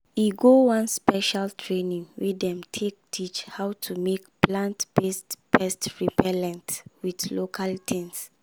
e go one special training wey dem take teach how to make plant-based pest repellent with local tings.